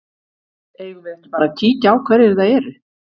Eigum við ekki bara að kíkja á hverjir það eru?